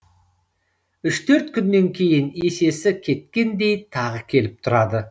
үш төрт күннен кейін есесі кеткендей тағы келіп тұрады